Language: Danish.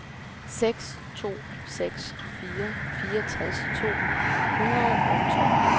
seks to seks fire fireogtres to hundrede og tolv